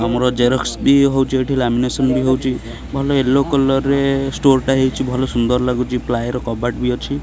ଆମର ଜେରକ୍ସ ବି ହଉଚି ଏଠି ଲାମିନେସନ ହଉଚି ଭଲ ୟେଲୋ କଲର୍ ରେ ଷ୍ଟୋର ଟା ହେଇଚି ଭଲ ସୁନ୍ଦର ଲାଗୁଚି ପ୍ଲାଏ ର କବାଟ ବି ଅଛି।